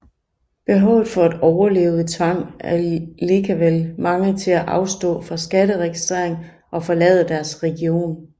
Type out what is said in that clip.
Behovet for at overleve tvang allikevel mange til afstå fra skatteregistring og forlade deres region